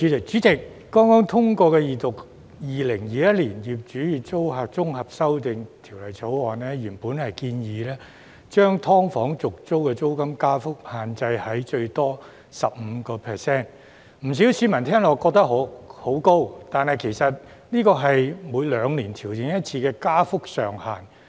主席，剛剛通過二讀的《2021年業主與租客條例草案》，原本建議將"劏房"的續租租金加幅限制在最多 15%， 不少市民聽起來認為很高，但其實這是每兩年調整一次的加幅上限。